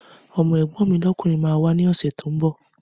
Ọmọ́ ẹ̀gbọ́n mi lọ́kùnrin máa wà ní ọ̀sẹ̀ tó ńbọ̀